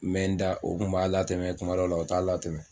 N mɛ n da o kun b'a latɛmɛ kuma dɔ la o t'a latɛmɛ.